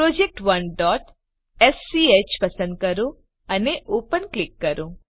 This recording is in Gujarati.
project1સ્ક પસંદ કરો અને ઓપન ક્લિક કરો